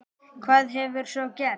Hvað hefur svo gerst?